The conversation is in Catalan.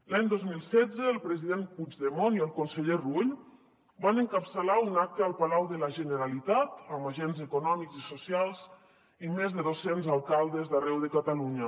l’any dos mil setze el president puigdemont i el conseller rull van encapçalar un acte al palau de la generalitat amb agents econòmics i socials i més de doscents alcaldes d’arreu de catalunya